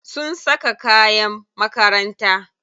Sun saka kayan makaranta.